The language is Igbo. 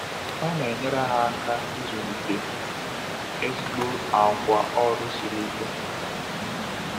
Ọ na-enyere ha aka ịzụlite ezigbo àgwà ọrụ siri ike.